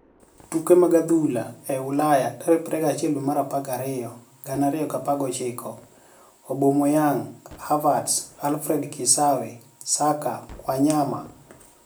Tuke mag adhula e Ulaya 21.12.2019: Aubameyanig, Havertz, Alfred Kisaawe, Xhaka, Waniyama